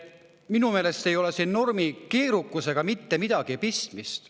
Minu meelest ei ole siin normi keerukusega mitte midagi pistmist.